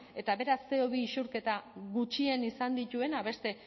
eta beraz ce o bi isurketa gutxien izan dituena beste